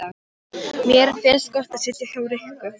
Mér finnst gott að sitja hjá Rikku!